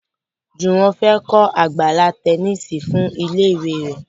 Juwon fè kò Àgbàlá Tẹníìsì fún ilé ìwé rẹ.